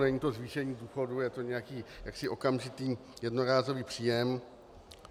Není to zvýšení důchodu, je to nějaký jaksi okamžitý jednorázový příjem.